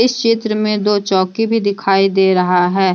इस चित्र में में दो चौकी भी दिखाई दे रहा है।